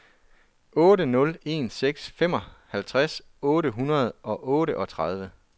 otte nul en seks femoghalvtreds otte hundrede og otteogtredive